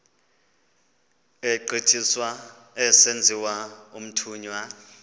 egqithiswa esenziwa umthunywa